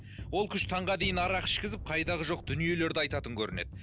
ол күш таңға дейін арақ ішкізіп қайдағы жоқ дүниелерді айтатын көрінеді